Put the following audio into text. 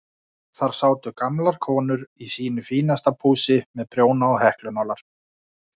Þar sátu gamlar konur í sínu besta pússi með prjóna og heklunálar.